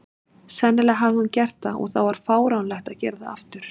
Sennilega hafði hún gert það, og þá var fáránlegt að gera það aftur.